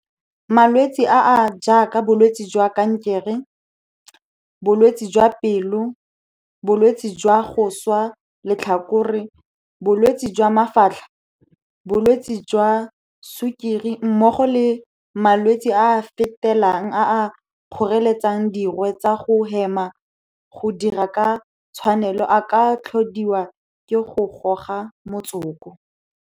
Malwetse a a jaaka bolwetse jwa kankere, bolwetse jwa pelo, bolwetse jwa go swa letlhakore, bolwetse jwa mafatlha, bolwetse jwa sukiri mmogo le malwetse a a fetelang a a kgoreletsang dirwe tsa go hema go dira ka tshwanelo a ka tlhodiwa ke go goga motsoko.